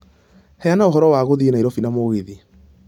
Heana ũhoro wa guthiĩ Nairobi na mũgithi